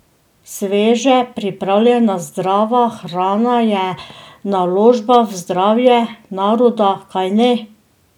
Sveže pripravljena zdrava hrana je naložba v zdravje naroda, kajne?